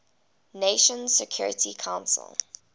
nations security council